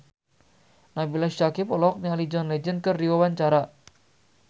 Nabila Syakieb olohok ningali John Legend keur diwawancara